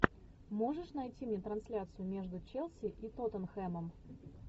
можешь найти мне трансляцию между челси и тоттенхэмом